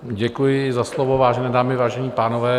Děkuji za slovo, vážené dámy, vážení pánové.